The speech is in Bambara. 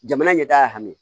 Jamana ɲɛtaga hami